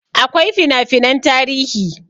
Akwai fina finan tarihi